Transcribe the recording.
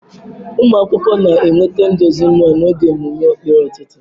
Ụmụ akwụkwọ na-enweta nduzi mmụọ n'oge mmemme ekpere ụtụtụ.